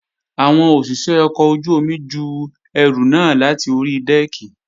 Àwọn òṣìṣé ọkọ̀ ojú-omi ju ẹrù náà láti ori dẹ́ẹ̀kì